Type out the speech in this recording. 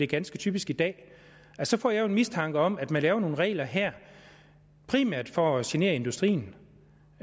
ganske typisk i dag for så får jeg jo en mistanke om at man laver nogle regler her primært for at genere industrien